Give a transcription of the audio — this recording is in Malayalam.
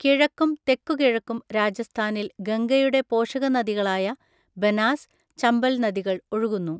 കിഴക്കും തെക്കുകിഴക്കും രാജസ്ഥാനിൽ ഗംഗയുടെ പോഷകനദികളായ ബനാസ്, ചമ്പൽ നദികൾ ഒഴുകുന്നു.